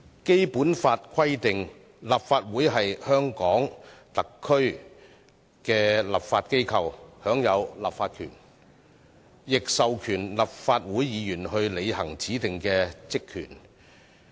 《基本法》規定，立法會是香港特區的立法機構，享有立法權，亦授權立法會議員履行指定的職權。